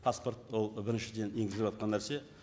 паспорт ол біріншіден егізіліватқан нәрсе